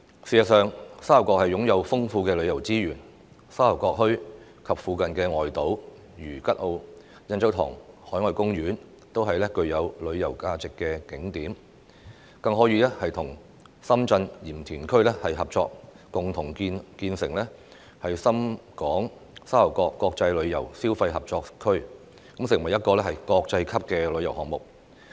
事實上，沙頭角擁有豐富旅遊資源，沙頭角墟及附近外島如吉澳、印洲塘海岸公園都是具有旅遊價值的景點，更可以與深圳鹽田區合作共同建立沙頭角深港國際旅遊消費合作區，成為一個國際級旅遊項目。